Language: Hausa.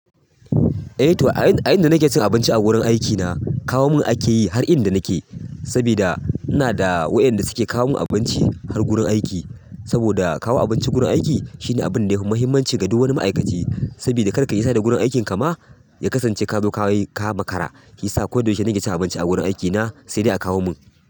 Eh to a, a yanda nake cin abinci a wurin aikina kawo mun ake yi har inda nake. Sabida ina da waɗanda suke kawo mun abinci har gurin aiki. Saboda kawo abinci gurin aiki shine abin da yafi muhimmanci ga duk wani ma'aikaci. Saboda karkai nisa da gurin aikinka ma ya kasance ka zo ka yi ka makara. Ya sa koyaushe nake cin abinci a wurin aikina sai dai a kawo mun.